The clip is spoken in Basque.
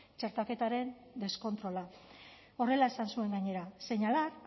txertaketaren deskontrola horrela esan zuen gainera señalar